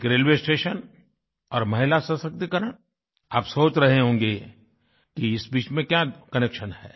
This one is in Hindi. एक रेलवे स्टेशन और महिला सशक्तीकरण आप सोच रहे होंगे कि इस बीच में क्या कनेक्शन है